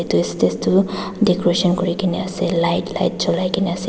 edu estage tu decoration kurikaena ase light light cholaikae na ase.